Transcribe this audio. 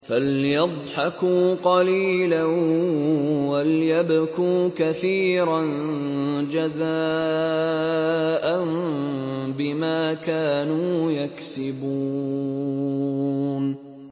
فَلْيَضْحَكُوا قَلِيلًا وَلْيَبْكُوا كَثِيرًا جَزَاءً بِمَا كَانُوا يَكْسِبُونَ